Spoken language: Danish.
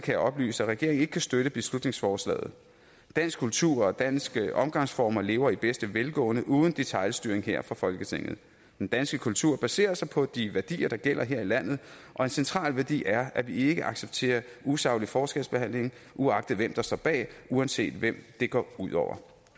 jeg oplyse at regeringen ikke kan støtte beslutningsforslaget dansk kultur og danske omgangsformer lever i bedste velgående uden detailstyring her fra folketinget den danske kultur baserer sig på de værdier der gælder her i landet og en central værdi er at vi ikke accepterer usaglig forskelsbehandling uagtet hvem der står bag og uanset hvem det går ud over